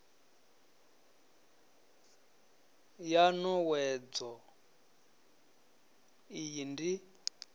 ya n owedzo iyi ndi